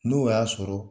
N'o y'a sɔrɔ